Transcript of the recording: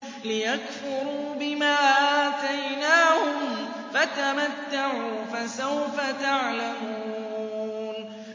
لِيَكْفُرُوا بِمَا آتَيْنَاهُمْ ۚ فَتَمَتَّعُوا فَسَوْفَ تَعْلَمُونَ